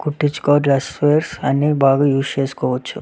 కుట్టిచుకో dresses అన్నీ బాగా use చేసుకోచ్చు.